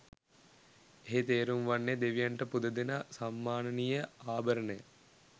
එහි තේරුම් වන්නේ දෙවියන්ට පුදදෙන සම්මානනීය ආභරණය